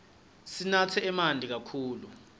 sinatse manti kakhulu